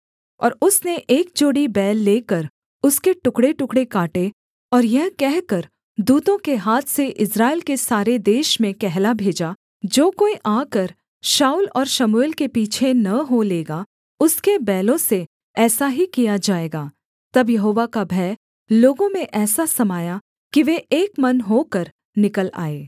और उसने एक जोड़ी बैल लेकर उसके टुकड़ेटुकड़े काटे और यह कहकर दूतों के हाथ से इस्राएल के सारे देश में कहला भेजा जो कोई आकर शाऊल और शमूएल के पीछे न हो लेगा उसके बैलों से ऐसा ही किया जाएगा तब यहोवा का भय लोगों में ऐसा समाया कि वे एक मन होकर निकल आए